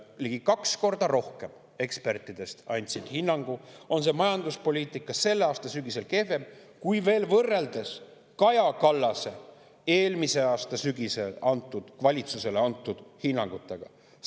Ligi kaks korda rohkem eksperte andis hinnangu, et majanduspoliitika on selle aasta sügisel kehvem, kui võrrelda Kaja Kallase valitsusele eelmise aasta sügisel antud hinnanguga.